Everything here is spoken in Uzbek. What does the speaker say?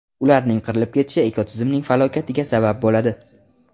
Ularning qirilib ketishi ekotizimning falokatiga sabab bo‘ladi.